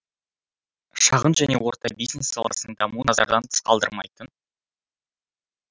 шағын және орта бизнес саласының дамуын назардан тыс қалдырмайтын